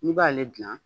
N'i b'ale gilan